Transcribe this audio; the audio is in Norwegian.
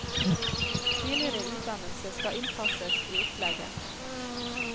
Tidligere utdannelse skal innpasses i opplegget.